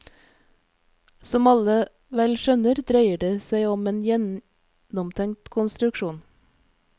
Som alle vel skjønner dreier det seg om en gjennomtenkt konstruksjon.